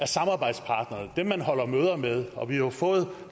samarbejdspartnere man holder møder med og vi har jo fået